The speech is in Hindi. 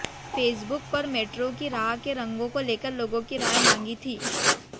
फेसबुक पर मेट्रो की राह के रंगों को लेकर लोगों की राय मांगी थी